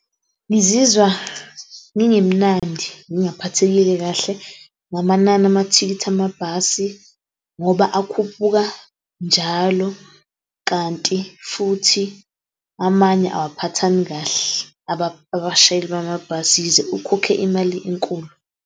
Ngizizwa ngingemnandi, ngingaphathekile kahle ngamanani amathikithi amabhasi, ngoba akhuphuka njalo kanti futhi amanye awaphathani kahle abashayeli bamabhasi yize ukhokhe imali enkulu.